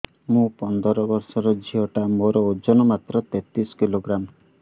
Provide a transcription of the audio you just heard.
ମୁ ପନ୍ଦର ବର୍ଷ ର ଝିଅ ଟା ମୋର ଓଜନ ମାତ୍ର ତେତିଶ କିଲୋଗ୍ରାମ